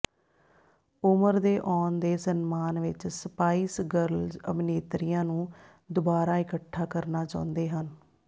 ਉਮਰ ਦੇ ਆਉਣ ਦੇ ਸਨਮਾਨ ਵਿਚ ਸਪਾਈਸ ਗਰਲਜ਼ ਅਭਿਨੇਤਰੀਆਂ ਨੂੰ ਦੁਬਾਰਾ ਇਕੱਠਾ ਕਰਨਾ ਚਾਹੁੰਦੇ ਹਨ